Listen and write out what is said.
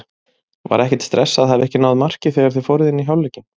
Var ekkert stress að hafa ekki náð marki þegar þið fóruð inn í hálfleikinn?